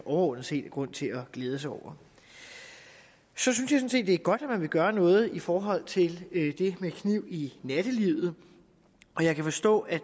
overordnet set er grund til at glæde sig over så synes jeg det er godt at man vil gøre noget i forhold til det med knive i nattelivet jeg kan forstå at